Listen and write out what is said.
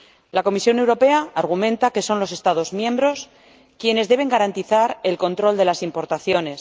La Comisión Europea argumenta que son los Estados miembros quienes deben garantizar el control de las importaciones.